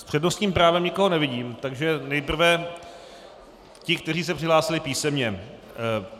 S přednostním právem nikoho nevidím, takže nejprve ti, kteří se přihlásili písemně.